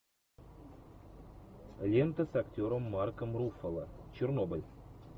лента с актером марком руффало чернобыль